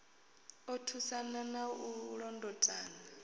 u thusana na u londotana